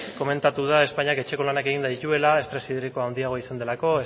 komentatu da espainiak etxeko lanak eginda dituela estres hidrikoa handiagoa izan delako